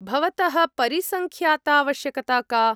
भवतः परिसङ्ख्यातावश्यकता का?